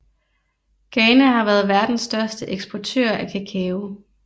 Ghana har været verdens største eksportør af kakao